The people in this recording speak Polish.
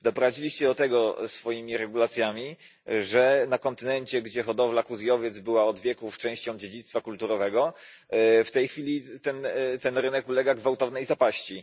Doprowadziliście do tego swoimi regulacjami, że na kontynencie, gdzie hodowla kóz i owiec była od wieków częścią dziedzictwa kulturowego, w tej chwili ten rynek ulega gwałtownej zapaści.